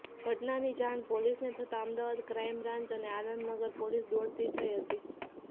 ઘટનાની જાણ પોલીસને થતા અમદાવાદ ક્રાઈમ બ્રાન્ચ અને આનંદનગર પોલીસ દોડતી થઈ હતી